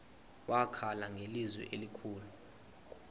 wakhala ngelizwi elikhulu